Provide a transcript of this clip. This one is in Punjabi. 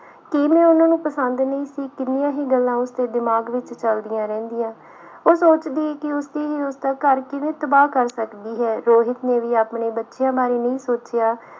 ਕੀ ਮੈਂ ਉਹਨਾਂ ਨੂੰ ਪਸੰਦ ਨਹੀਂ ਸੀ ਕਿੰਨੀਆਂ ਹੀ ਗੱਲਾਂ ਉਸਦੇ ਦਿਮਾਗ ਵਿੱਚ ਚੱਲਦੀਆਂ ਰਹਿੰਦੀਆਂ ਉਹ ਸੋਚਦੀ ਕਿ ਉਸਦੀ ਹੀ ਉਸਦਾ ਘਰ ਕਿਵੇਂ ਤਬਾਹ ਕਰ ਸਕਦੀ ਹੈ ਰੋਹਿਤ ਨੇ ਵੀ ਆਪਣੇ ਬੱਚਿਆਂ ਬਾਰੇ ਨਹੀਂ ਸੋਚਿਆ।